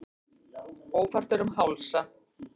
Ófært er um Hálsa